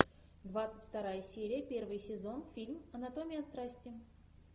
двадцать вторая серия первый сезон фильм анатомия страсти